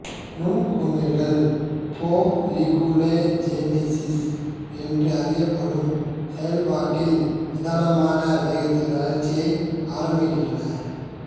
நுண்குமிழ்கள் folliculogenesis என்று அறியப்படும் செயல்பாட்டில் நிதானமான வேகத்தில் வளர்ச்சியை ஆரம்பிக்கின்றன